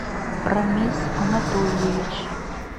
рамис анатольевич